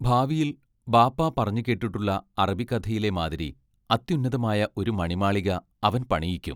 ഭാവിയിൽ ബാപ്പാ പറഞ്ഞുകേട്ടിട്ടുള്ള അറബിക്കഥയിലെ മാതിരി അത്യുന്നതമായ ഒരു മണിമാളിക അവൻ പണിയിക്കും.